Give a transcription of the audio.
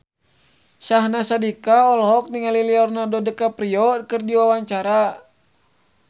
Syahnaz Sadiqah olohok ningali Leonardo DiCaprio keur diwawancara